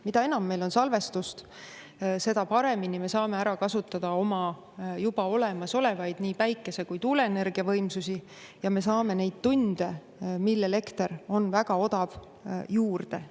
Mida enam meil on salvestust, seda paremini me saame ära kasutada oma juba olemasolevaid nii päikese- kui tuuleenergia võimsusi ja me saame neid tunde, mil elekter on väga odav, juurde.